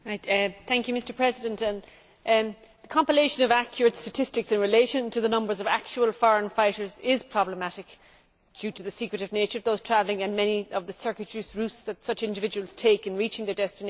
Mr President, the compilation of accurate statistics in relation to the numbers of actual foreign fighters is problematic, due to the secretive nature of those travelling and many of the circuitous routes such individuals take in reaching their destinations